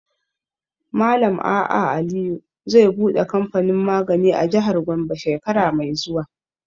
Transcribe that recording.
Malam A.A Aliyu zai buɗe kamfanin magani a jihar Gombe shekara mai zuwa.